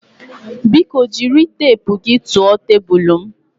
Biko jiri teepu gị tụọ tebụl m